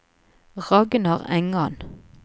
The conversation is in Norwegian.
Ragnar Engan